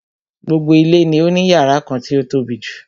Gbogbo ilé ni ó ní yàrá kan tí o tóbijù.